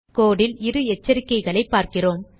கோடு ல் இரு எச்சரிக்கைகளைப் பார்க்கிறோம்